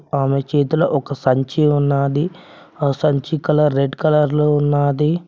ఆమె చేతిలో ఒక సంచి ఉన్నాది ఆ సంచి కలర్ రెడ్ కలర్ లో ఉన్నాది.